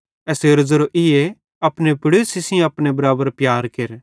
एसेरो ज़ेरो ईए अपने पड़ोसी सेइं अपने बराबर प्यार केर